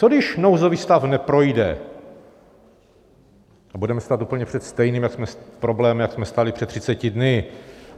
Co když nouzový stav neprojde a budeme stát úplně před stejným problémem, jako jsme stáli před 30 dny?